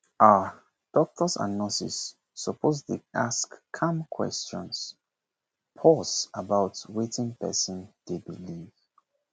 ah doctors and nurses suppose dey ask calm questions pause about wetin person dey believe